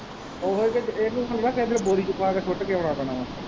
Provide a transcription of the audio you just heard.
ਉਹੀ ਤੇ ਇਹਨੂੰ ਨਹੀਂ ਨਾ ਕਹਿੰਦੇ ਬੋਰੀ ਚ ਪਾ ਕੇ ਸੁੱਟ ਕੇ ਆਉਣਾ ਪੈਣਾ ਹੈ।